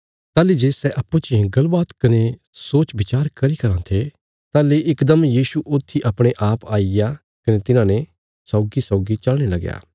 ताहली जे सै अप्पूँ चियें गल्ल बात कने सोच विचार करी कराँ थे ताहली इकदम यीशु ऊथी अपणे आप आईग्या कने तिन्हाने सौगीसौगी चलने लगया